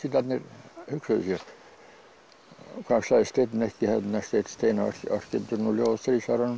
Brexitarnir hugsuðu sér hvað sagði Steinn Steinarr hann orti ljóð á stríðsárunum